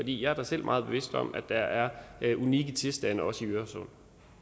jeg er da selv meget bevidst om at der er er unikke tilstande også i øresund